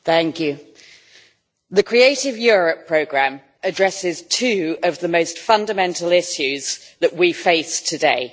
Mr President, the Creative Europe programme addresses two of the most fundamental issues that we face today.